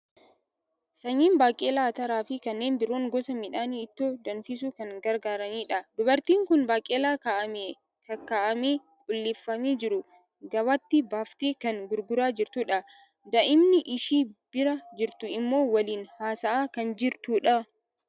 Sanyiin baaqelaa, ataraa fi kanneen biroon gosa midhaanii ittoo danfisuu kan gargaaranidha. Dubartiin kun baaqelaa kaa'amee kaakka'amee, qulleeffamee jiru gabaatti baaftee kan gurguraa jirtudha. Daa'imni ishii bira jirtu immoo waliin haasa'aa kan jirtudha.